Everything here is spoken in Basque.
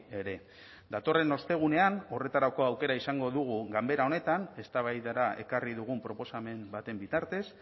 ere datorren ostegunean horretarako aukera izango dugu ganbera honetan eztabaidara ekarri dugun proposamen baten bitartez